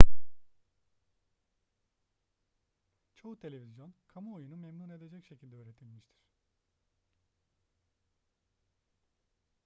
çoğu televizyon kamuoyunu memnun edecek şekilde üretilmiştir